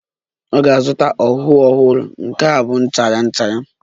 Ọ ga-azụta ọhụụ ọhụrụ, nke a bụ nchara nchara